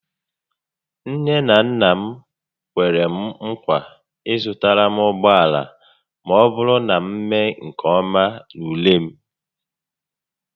Nne na nna m kwere m nkwa ịzụtara m ụgbọala ma ọbụrụ na m mee nke ọma n'ule m